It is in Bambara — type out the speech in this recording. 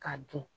K'a dun